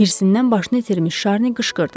Hirsindən başını itirmiş Şarni qışqırdı.